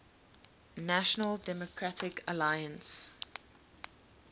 national democratic alliance